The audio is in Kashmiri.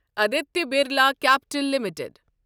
Aditya Birla capital limited